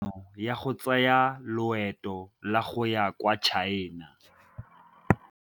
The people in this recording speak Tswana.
O neetswe tumalanô ya go tsaya loetô la go ya kwa China.